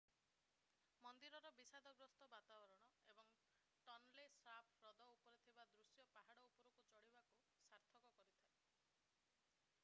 ମନ୍ଦିରର ବିଷାଦଗ୍ରସ୍ତ ବାତାବରଣ ଏବଂ ଟନଲେ ସାପ୍ ହ୍ରଦ ଉପରେ ଥିବା ଦୃଶ୍ୟ ପାହାଡ ଉପରକୁ ଚଢ଼ିବାକୁ ସାର୍ଥକ କରିଥାଏ